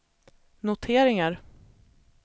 noteringar